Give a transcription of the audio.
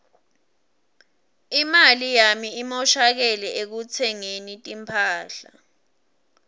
imali yami imoshakele ekutsengeni timphahla